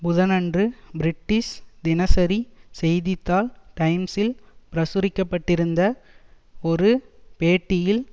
புதனன்று பிரிட்டிஷ் தினசரி செய்தி தாள் டைம்ஸில் பிரசுரிக்கப்பட்டிருந்த ஒரு பேட்டியில்